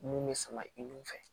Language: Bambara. Mun bɛ sama i n'u fɛ